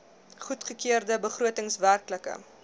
goedgekeurde begroting werklike